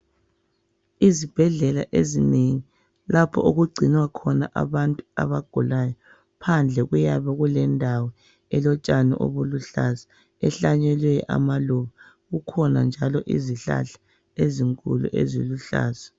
Izibhedlela ezinengi lapho okugcinwa khona abantu abagulayo phandle kuyabe kulendawo elotshani obuluhlaza ehlanyelwe amaluba kukhona njalo izihlahla ezinkulu eziluhlaza